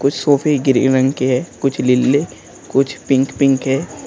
कुछ सोफे ग्रे रंग के हैं कुछ लीले कुछ पिंक पिंक है।